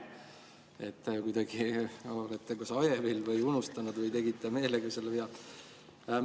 Te olete kuidagi hajevil või unustanud või tegite meelega selle vea.